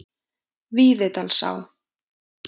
Víðidalsá